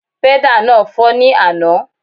Pẹ́dà náà fọ́ ní àná